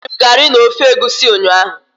Eriri m garị na ofe egwusi ụnyahụ.